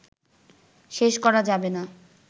শেষ করা যাবে না